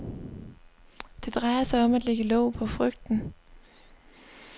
Det drejer sig om at lægge låg på frygten.